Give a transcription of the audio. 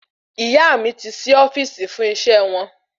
Ìyá mí ti sí ofíìsì fún iṣẹ wọn